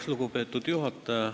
Lugupeetud juhataja!